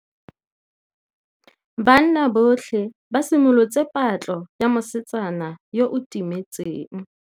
Banna botlhê ba simolotse patlô ya mosetsana yo o timetseng.